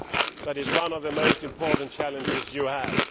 That is one of the most important challenges you have.